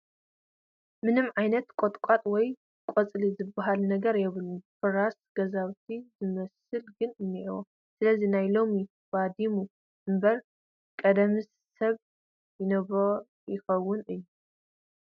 ምንም ዓይነት ቖጥቛጥ ወይ ቕፅሊ ዝበሃል ነገር የብሉን ፍራሳት ገዛውቲ ዝመስል ግን እንሄሉ ። ስለዚ ሎሚ እዩ ባዲሙ እምበር ቐደምስ ሰብ ይነብሮ ይኽውን 'ዩ ።